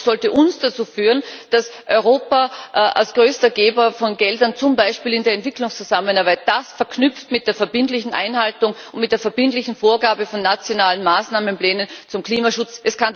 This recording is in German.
Das sollte uns dazu führen, dass Europa als größter Geber von Geldern zum Beispiel in der Entwicklungszusammenarbeit das verknüpft mit der verbindlichen Einhaltung und mit der verbindlichen Vorgabe von nationalen Maßnahmenplänen zum Klimaschutz.